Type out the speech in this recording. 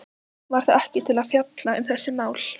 Var það ekki til þess að fjalla um þessi mál?